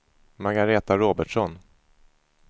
Margaretha Robertsson